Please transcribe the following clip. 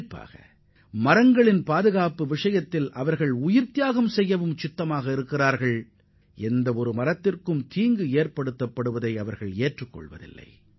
குறிப்பாக மரங்களை பாதுகாக்கும் விஷயத்தில் ஒரு மரத்திற்கு பாதிப்பு ஏற்படுவதைவிட தங்களது உயிரை கொடுக்கக் கூட அவர்கள் தயாராக உள்ளனர்